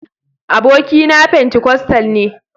abokina pentikostal ne.